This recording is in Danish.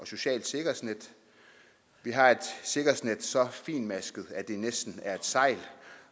socialt sikkerhedsnet vi har et sikkerhedsnet så fintmasket at det næsten er et sejl